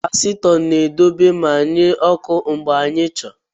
Kapasitọ na-edobe ma nye ọkụ mgbe ị chọrọ.